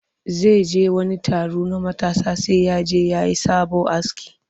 Zai je wani taro na matasa sai ya je ya yi sabo aski